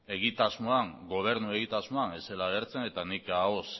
gobernu egitasmoan ez zela agertzen eta nik ahoz